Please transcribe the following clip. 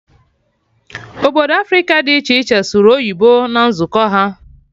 Obodo Africa dị iche iche sụrụ oyibo na nzukọ ha